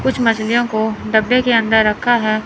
कुछ मछलियों को डब्बे के अंदर रखा है।